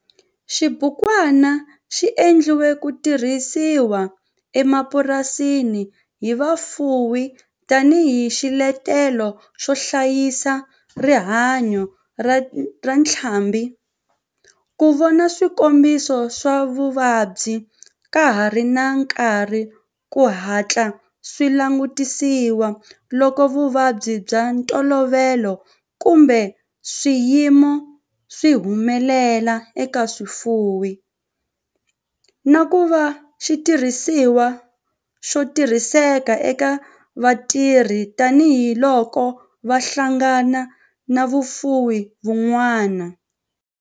Xibukwana xi endliwe ku tirhisiwa emapurasini hi vafuwi tani hi xiletelo xo hlayisa rihanyo ra ntlhambhi, ku vona swikombiso swa vuvabyi ka ha ri na nkarhi ku hatla swi langutisiwa loko vuvabyi bya ntolovelo kumbe swiyimo swi humelela eka swifuwo, na ku va xitirhisiwa xo tirhiseka eka vatirhi tani hi loko va hlangana na vafuwi van'wana.